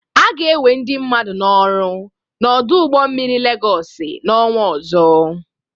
A ga-enwe ndị mmadu n'ọrụ n'ọdụ ụgbọ mmiri Legọsị n'ọnwa ọzọ.